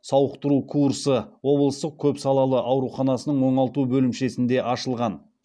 сауықтыру курсы облыстық көп салалы ауруханасының оңалту бөлімшесінде ашылған